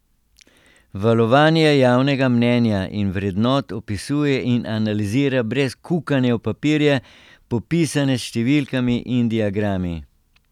Valovanje javnega mnenja in vrednot opisuje in analizira brez kukanja v papirje, popisane s številkami in diagrami.